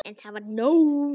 En það var nóg.